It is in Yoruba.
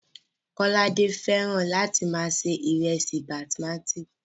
Kọ́ládé fẹ́ràn láti máa se ìrẹsì basimátí